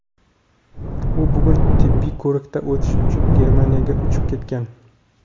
U bugun tibbiy ko‘rikdan o‘tish uchun Germaniyaga uchib ketgan;.